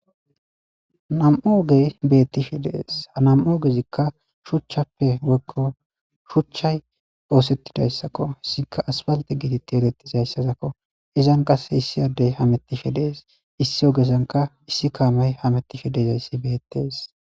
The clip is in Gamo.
Nam'u ogey beettishe dees. Ha nam'u oogezikka shuchchappe woykko shuchchay oosettidayssakko. Issika asiphalte getteti erettiza issazakko. Izan qasse issi addey hamettishe dees. Issi ogesanka issi kaamay hamettishe dizay issi beettees.